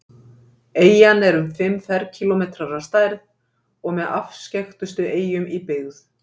eyjan er um fimm ferkílómetrar að stærð og með afskekktustu eyjum í byggð